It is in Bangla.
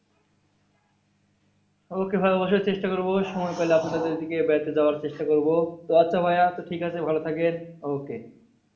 Okay ভাইয়া অবশ্যই চেষ্টা করবো সময় পেলে আপনাদের ওইদিকে বেড়াতে যাওয়ার চেষ্টা করবো। তো আচ্ছা ভাইয়া আচ্ছা ঠিকাছে ভালো থাকেন okay.